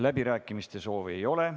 Läbirääkimiste soovi ei ole.